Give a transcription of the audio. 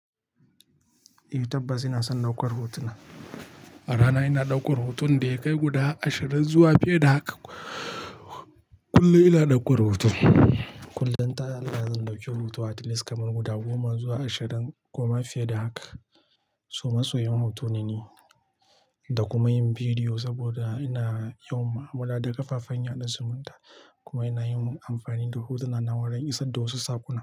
Eh tabbas ina son ɗaukar hotuna. A rana ina ɗaukar hotuna da ya kai guda ashirin zuwa fiye da haka. Kullum ina ɗaukar hoto. Kullum ta allahi zan ɗauki hoto at least kamar guda goma zuwa ashirin kuma fiye da haka. So masoyi'n hoto nane da kuma yin bidiyo saboda yana yawan ma, amalla da ƙafafen yaɗa zumunta. Kuma ina yinm amfani da hotuna na wurin isar da wasu sakona.